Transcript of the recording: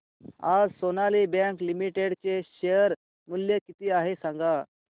आज Sonali bank limited चे share मूल्य किती आहे सांगा